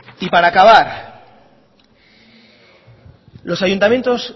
y para acabar los ayuntamientos